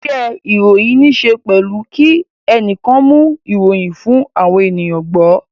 Isẹ́ ìròyìn níse pẹ̀lú kí ẹnìkan mú ìròyìn fún àwọn ènìyàn gbọ́